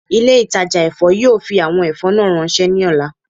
Ile-itaja èfó yoo fi awọn ẹfọ naa ranṣẹ ni ọla